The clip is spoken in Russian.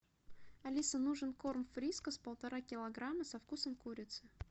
алиса нужен корм фрискас полтора килограмма со вкусом курицы